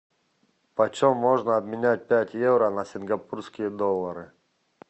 почем можно обменять пять евро на сингапурские доллары